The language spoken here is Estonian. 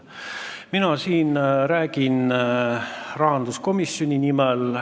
Mina räägin siin rahanduskomisjoni nimel.